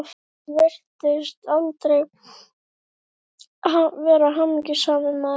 Hann virtist aldrei vera hamingjusamur maður.